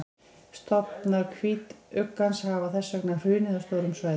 stofnar hvítuggans hafa þess vegna hrunið á stórum svæðum